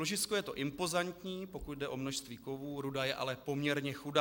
Ložisko je to impozantní, pokud jde o množství kovů, ruda je ale poměrně chudá.